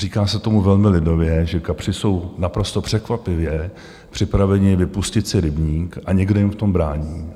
Říká se tomu velmi lidově, že kapři jsou naprosto překvapivě připraveni vypustit si rybník a někdo jim v tom brání.